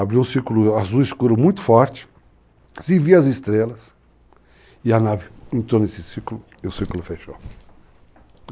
abriu um círculo azul escuro muito forte, se via as estrelas, e a nave entrou nesse círculo e o círculo fechou.